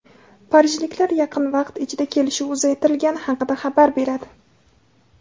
parijliklar yaqin vaqt ichida kelishuv uzaytirilgani haqida xabar beradi.